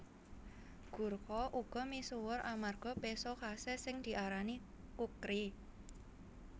Gurkha uga misuwur amarga péso khasé sing diarani kukri